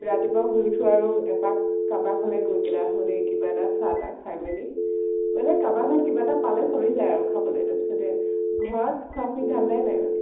ৰাতিপুৱা শুই উঠো আৰু এপাক কাবাৰ ঘৰলৈ গৈ পিনে আহো দেই। কিবা এটা চাহ তা খাই মেলি মানে কাবাৰ তাত কিবা এটা পালে চলি যায় আৰু খাবলৈ। তাৰ পিছতে ঘৰত খোৱা খোৱি ধান্দাই নাই মানে।